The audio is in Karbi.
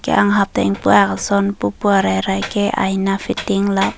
anke anghap ta ingpu ak ason pupu arai rai ke aina fitting lap.